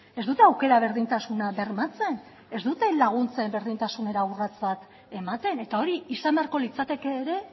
ez dute aukera berdintasuna bermatzen ez dute laguntzen berdintasunera urrats bat ematen eta hori izan beharko litzateke ere